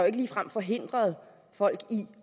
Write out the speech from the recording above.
ikke ligefrem forhindret folk i